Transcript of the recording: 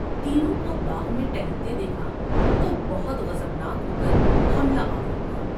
تینوں کو باغ میں ٹہلتے دیکھا تو بہت غضبناک ہو کر حملہ آور ہوا ۔